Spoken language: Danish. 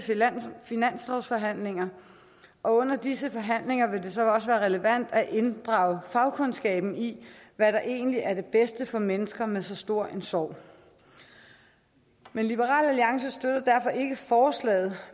finanslovsforhandlinger og under disse forhandlinger vil det så også være relevant at inddrage fagkundskaben i hvad der egentlig er det bedste for mennesker med så stor en sorg liberal alliance støtter derfor ikke forslaget